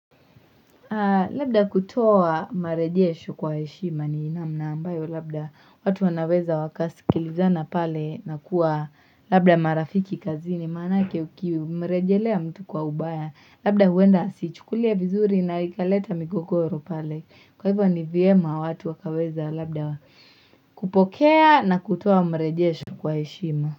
Labda kutoa marejesho kwa heshima ni namna ambayo labda watu wanaweza wakasi kilizana pale na kuwa labda marafiki kazini maana yake ukimrejelea mtu kwa ubaya labda huenda asichukulia vizuri na ikaleta migogoro pale kwa hivyo ni vyema watu wakaweza labda kupokea na kutoa marejiesho kwa eshima.